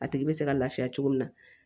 A tigi bɛ se ka laafiya cogo min na